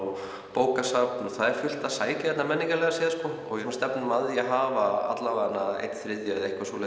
bókasafn og það er fullt að sækja hingað menningarlega séð og við stefnum að því að hafa alla vega einn þriðja